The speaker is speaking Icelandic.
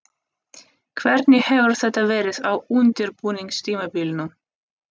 Hvernig hefur þetta verið á undirbúningstímabilinu?